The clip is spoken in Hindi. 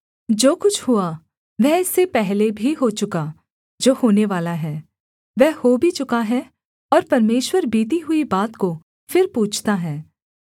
जो कुछ हुआ वह इससे पहले भी हो चुका जो होनेवाला है वह हो भी चुका है और परमेश्वर बीती हुई बात को फिर पूछता है